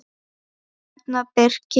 Björn og Birkir.